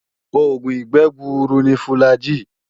Oògùn ìgbẹ́ gbuuru ni fùlàgi